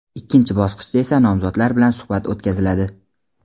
Ikkinchi bosqichda esa nomzodlar bilan suhbat o‘tkaziladi.